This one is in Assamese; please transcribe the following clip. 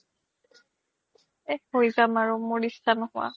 এহ হৈ যাম আৰু মুৰ ইত্স্শা নোহুৱা